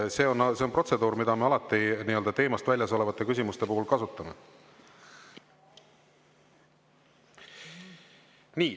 See on protseduur, mida me alati teemast väljas olevate küsimuste puhul kasutame.